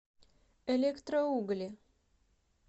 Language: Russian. электроугли